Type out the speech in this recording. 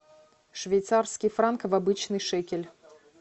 швейцарский франк в обычный шекель